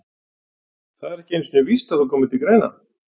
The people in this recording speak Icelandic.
Það er ekki einu sinni víst að þú komir til greina.